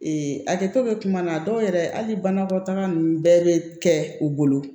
a kɛtɔ bɛ kuma na dɔw yɛrɛ hali banakɔtaga ninnu bɛɛ bɛ kɛ u bolo